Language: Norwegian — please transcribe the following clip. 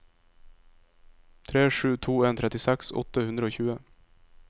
tre sju to en trettiseks åtte hundre og tjue